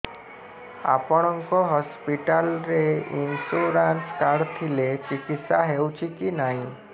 ଆପଣଙ୍କ ହସ୍ପିଟାଲ ରେ insurance card ଥିଲେ ଚିକିତ୍ସା ହେଉଛି କି ନାଇଁ